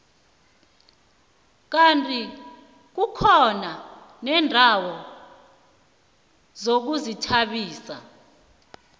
kandi kukhona neendawo zokuzithabisa